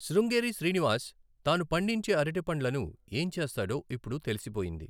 శృంగేరి శ్రీనివాస్ తాను పండించే అరటిపండ్లను ఏం చేస్తాడో ఇప్పుడు తెలిసిపోయింది!